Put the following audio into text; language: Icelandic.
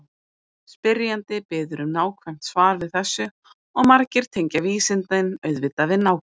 Spyrjandi biður um nákvæmt svar við þessu og margir tengja vísindin auðvitað við nákvæmni.